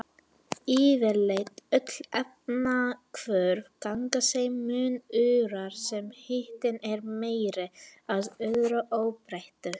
Yfirleitt öll efnahvörf ganga þeim mun örar sem hitinn er meiri, að öðru óbreyttu.